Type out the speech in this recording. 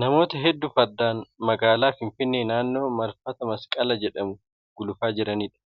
Namoota hedduu fardaan magaalaa Finfinnee naannoo marfata masqalaa jedhamu gulufaa jiraniidha.